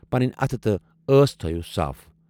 پنٕنۍ اَتھٕ تہٕ ٲس تھٲوِو صاف۔